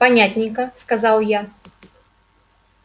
понятненько сказал я